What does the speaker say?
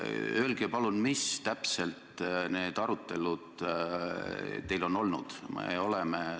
Öelge palun, mis arutelud teil ikkagi on olnud?